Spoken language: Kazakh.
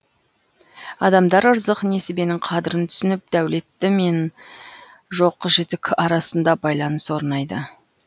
адамдар ырзық несібенің қадірін түсініп дәулетті мен жоқ жітік арасында байланыс орнайды